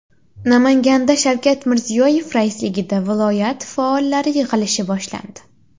Namanganda Shavkat Mirziyoyev raisligida viloyat faollari yig‘ilishi boshlandi.